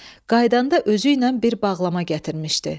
Qaydanda özüylə bir bağlama gətirmişdi.